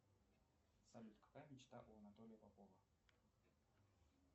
салют какая мечта у анатолия попова